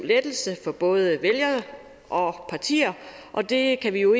lettelse for både vælgere og partier og det kan vi jo